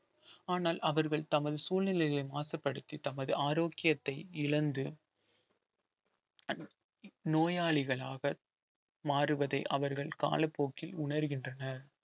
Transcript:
ஆனால் அவர்கள் தமது சூழ்நிலைகளை மாசுபடுத்தி தமது ஆரோக்கியத்தை இழந்து அந்~ நோயாளிகளாக மாறுவதை அவர்கள் காலப்போக்கில் உணர்கின்றனர்